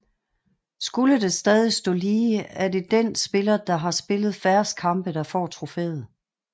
Skulle det stadig stå lige er det den spiller der har spillet færrest kampe der får trofæet